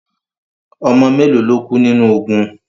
Ọmọ mélo lo kú nínu ogun?